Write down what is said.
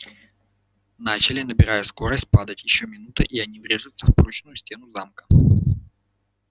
начали набирая скорость падать ещё минута и они врежутся в прочную стену замка